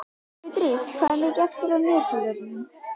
Sigurdríf, hvað er mikið eftir af niðurteljaranum?